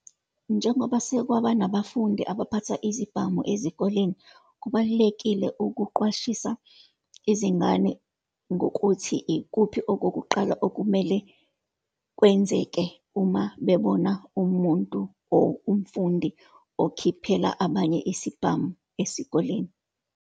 Njengoba sekwaba nabafundi abaphatha izibhamu ezikoleni, kubalulekile ukuqwashisa izingane ngokuthi ikuphi okokuqala okumele kwenzeke uma bebona umuntu or umfundi okhiphela abanye isibhamu esikoleni.